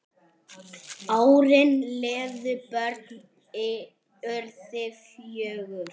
Árin liðu, börnin urðu fjögur.